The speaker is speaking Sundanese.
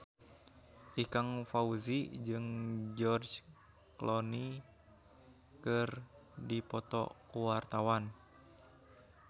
Ikang Fawzi jeung George Clooney keur dipoto ku wartawan